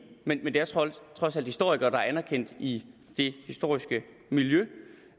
men det er trods alt historikere der er anerkendt i det historiske miljø